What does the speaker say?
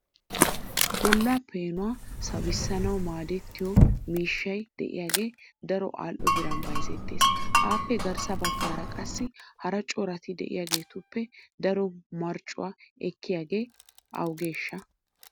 Bolla peenuwa sawissanaw maadetiyo miishshay de'iyaage daro al"o biran bayzzetees. Appe garssa baggaara qasii hara corati de'iyaageetuppe daro marccuwaa ekkiyaage awugeshsha?